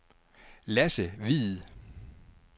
Lasse Hviid